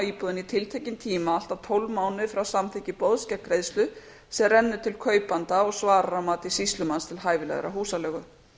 íbúðinni í tiltekinn tíma allt að tólf mánuði frá samþykki boðs gegn greiðslu sem rennur til kaupanda og svarar að mati sýslumanns til hæfilegrar húsaleigu